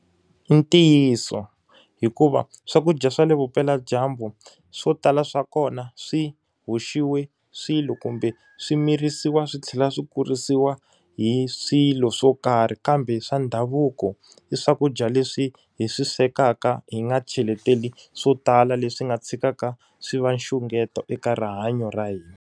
I ntiyiso. Hikuva swakudya swa le vupeladyambu swo tala swa kona swi hoxiwe swilo kumbe swi mirisiwa swi tlhela swi kurisiwa hi swilo swo karhi. Kambe swa ndhavuko, i swakudya leswi hi swi swekaka hi nga cheletela swo tala leswi nga tshikaka swi va nxungeto eka rihanyo ra hina.